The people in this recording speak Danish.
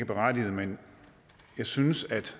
berettiget men jeg synes at